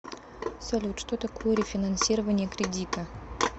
салют что такое рефинансирование кредита